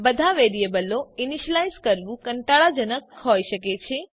બધા વેરિયેબલો ઈનીશ્યલાઈઝ કરવું કંટાળાજનક હોઈ શકે છે